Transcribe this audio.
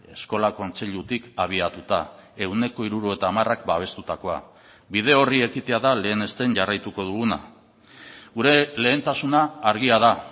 eskola kontseilutik abiatuta ehuneko hirurogeita hamarak babestutakoa bide horri ekitea da lehenesten jarraituko duguna gure lehentasuna argia da